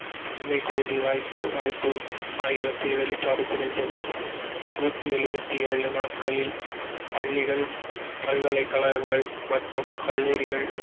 பசுமை வாய்ப்பு ஆகியவற்றை வெளிப்பாடு புரிந்துள்ளது நூற்றி எழுபத்தி ஏழு நாட்களில் பள்ளிகள் பல்கலைக்கழகங்கள் மற்றும் கல்லூரிகள்